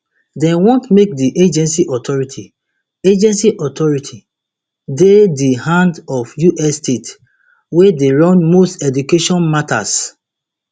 dem want make di agency authority agency authority dey di hand of us states wey dey run most education matters